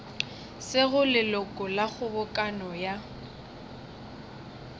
sego leloko la kgobokano ya